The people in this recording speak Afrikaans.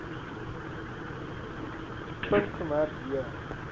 punt gemerk j